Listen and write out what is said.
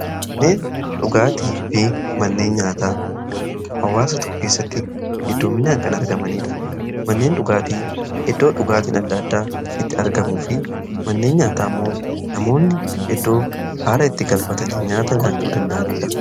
Manneen dhugaatii fi manneen nyaataa hawaasa tokko keessatti heddumminaan kan argamanidha. Manneen dhugaatii iddoo dhugaatiin adda addaa itti argamuu fi manneen nyaataa ammoo namoonni iddoo haara itti galfatanii nyaata nyaachuu danda'aniidha.